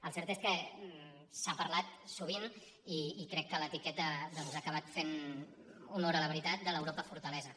el cert és que s’ha parlat sovint i crec que l’etiqueta doncs ha acabat fent honor a la veritat de l’europa fortalesa